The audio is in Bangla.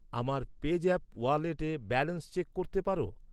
আমার পেজ্যাপ ওয়ালেটে ব্যালেন্স চেক করতে পার?